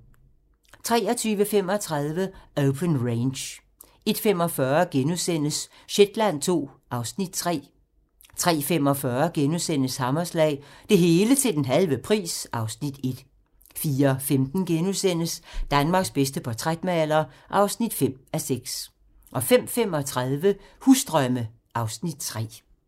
23:35: Open Range 01:45: Shetland II (Afs. 3)* 03:45: Hammerslag - Det hele til den halve pris (Afs. 1)* 04:15: Danmarks bedste portrætmaler (5:6)* 05:35: Husdrømme (Afs. 3)